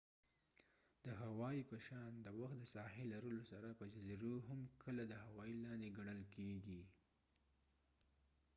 د هاوايي په شان د وخت د ساحی لرلو سره په جزیزو هم کله د هوای لاندی ګڼل کیږی